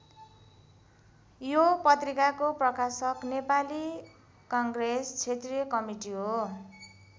यो पत्रिकाको प्रकाशक नेपाली काङ्ग्रेस क्षेत्रीय कमिटी हो।